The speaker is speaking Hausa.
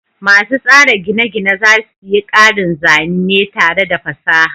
Masu tsara gine-gine za su yi ƙarin zane tare da fasaha.